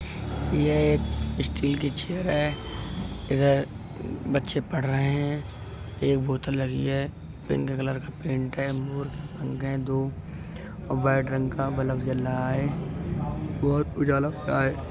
ये एक स्टील की चेयर है इधर बच्चे पढ रहे हैं एक बोतल लगी है पिंक कलर का पेंट है अंदर दो व्हाइट रंग का बलब जल रहा है बहोत उजाला आ--